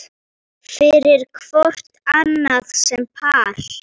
fyrir hvort annað sem par